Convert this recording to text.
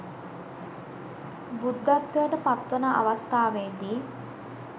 බුද්ධත්වයට පත්වන අවස්ථාවේදී